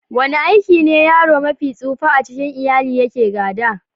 Wani aiki ne yaro mafi tsufa a cikin iyali yake gada?